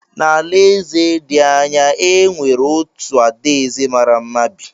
N’alaeze dị anya, e nwere otu adaeze mara mma bi.